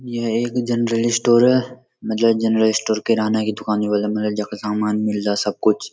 यह एक general store है मतलब गैनरल स्टोर किराना की दूकान यु बुलदा मतलब जख सामान मिलदा सबकुछ।